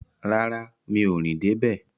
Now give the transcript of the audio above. Rárá, mi ò rìn dé bẹ̀